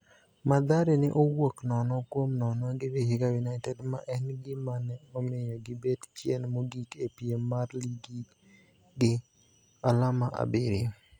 Mathare ne owuok nono kuom nono gi Vihiga United, ma en gima ne omiyo gibet chien mogik e piem mar ligi gi alama abiriyo.